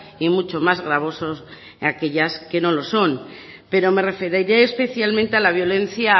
y mucho más gravosos en aquellas que no lo son pero me referiré especialmente a la violencia